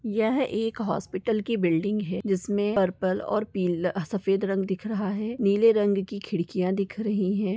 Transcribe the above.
यह एक हॉस्पिटल की बिल्डिंग है जिसमें पर्पल और पीला सफेद रंग दिख रहा है नीले रंग की खिड़कियां दिख रही हैं।